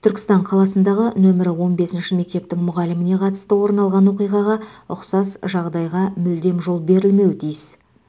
түркістан қаласындағы нөмірі он бесінші мектептің мұғаліміне қатысты орын алған оқиғаға ұқсас жағдайға мүлдем жол берілмеуі тиіс